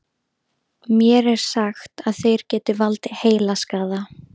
Mér er sagt að þeir geti valdið heilaskaða.